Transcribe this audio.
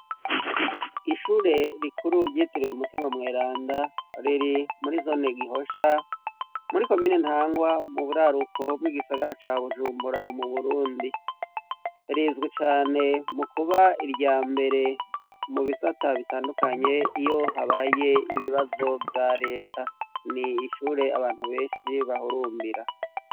Ishure rikuru ryitiriwe Mutimamweranda riri muri zone Gihosha, muri komine Ntahangwa mu buraruko bw'igisagara ca Bujumbura mu Burundi. Rizwi cane mu kuba irya mbere mu bisata bitandukanye iyo habaye ibibazo vya leta. Ni ishure abantu benshi bahurumbira.